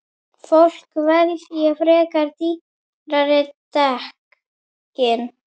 Fólk velji frekar dýrari dekkin.